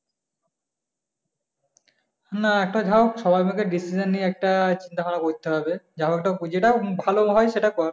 না একটা সবাই মিলে একটা decision নিয়ে একটা করতে হবে যেটা ভালো হয় সেটা কর।